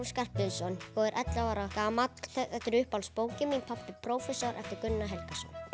Skarphéðinsson og er ellefu ára gamall þetta er uppáhaldsbókin mín pabbi prófessor eftir Gunnar Helgason